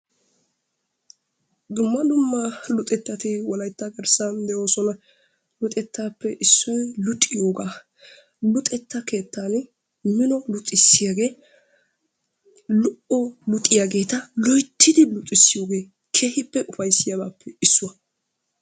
Dumma dumma luxetatti wolaytta garssan de'oosona. Luxettappe issoy luxiyoogaa. Luxetta keettan mino luxissiyaagee lo"o luxiyaageeta loyttidi luxissiyooger keehippe ufayssiyaabappe issuwaa.